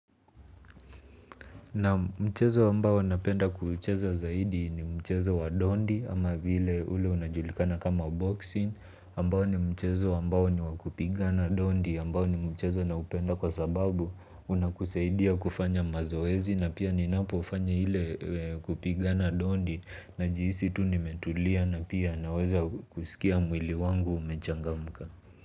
Nam mchezo ambao napenda kucheza zaidi ni mchezo wa dondi ama vile ule unajulikana kama boxing ambao ni mchezo ambao ni wakupiga na dondi ambao ni mchezo na upenda kwa sababu unakuseidia kufanya mazoezi na pia ninapo ufanya hile kupiga na dondi na jihisi tu ni metulia na pia naweza kusikia mwili wangu umechangamka.